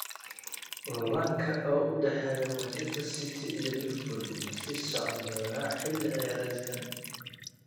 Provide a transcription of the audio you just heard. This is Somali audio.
Loolanka u dhexeeya Manchester City iyo Liverpool ma sii socon doonaa xilli ciyaareedkan?